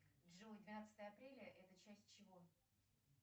джой двенадцатое апреля это часть чего